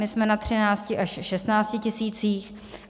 My jsme na 13 až 16 tisících.